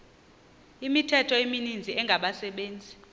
imithqtho emininzi engabaqbenzi